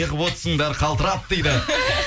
неғып отырсыңдар қалтырап дейді